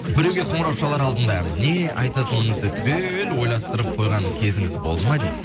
біреуге қоңырау шалар алдында не айтатыңызды түгел ойластырып қойған кезіңіз болды ма дейді